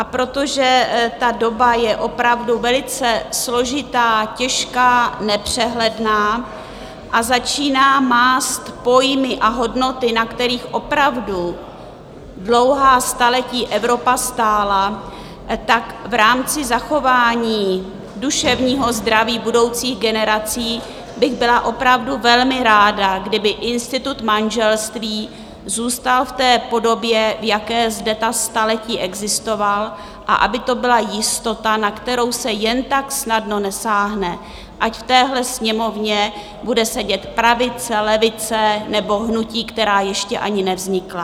A protože ta doba je opravdu velice složitá, těžká, nepřehledná a začíná mást pojmy a hodnoty, na kterých opravdu dlouhá staletí Evropa stála, tak v rámci zachování duševního zdraví budoucích generací bych byla opravdu velmi ráda, kdyby institut manželství zůstal v té podobě, v jaké zde ta staletí existoval, a aby to byla jistota, na kterou se jen tak snadno nesáhne, ať v téhle Sněmovně bude sedět pravice, levice nebo hnutí, která ještě ani nevznikla.